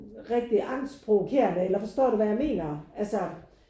Rigtig angstprovokerende eller forstår du hvad jeg mener altså